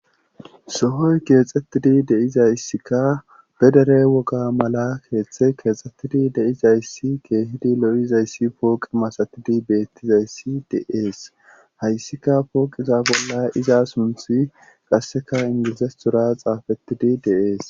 sohoy keexxettidi deizayssikka bedere woga mala keeththe keexxettidi deizayssi keehidi lo7izayssi pooqi masatidi beettizayssi de7ees hayssika pooqiza bolla iza sunthi qasseka ingilizes tura xaafettidi deees